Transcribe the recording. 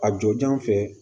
A jɔnjɔn fɛ